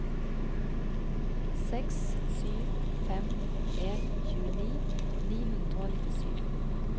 seks sju fem en tjueni ni hundre og nittisju